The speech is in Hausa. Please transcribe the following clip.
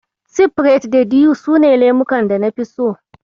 Sifirait da Dew su ne lemukan da nafi so.